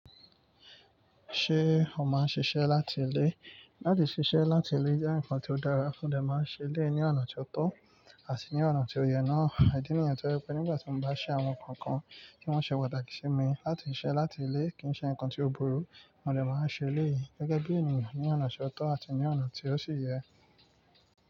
Ṣé o máa ń ṣiṣẹ́ láti ilé? Láti ṣiṣẹ́ láti ilé jẹ́ nǹkan tó dára, mo dè máa n ṣẹ beẹ̀ ní ọ̀nà tó tọ́ àti ní ọ̀nà tó yẹ náà. Ìdí nìyẹn tó je pé nígbà tí mo bá ṣe àwọn nǹkan kan tí wọ́n ṣe pàtàkì sí mi. Láti ṣiṣẹ́ láti ilé kì í ṣe nǹkan tí ó burú, mọ́ dè máa ṣẹ elẹ̀yìí gẹ́gẹ́ bí ènìyàn ní ọ̀nà ti ó tọ́ àti ní ọ̀nà tí ó sì yẹ.